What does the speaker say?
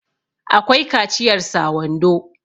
akwai kaciyar sa wando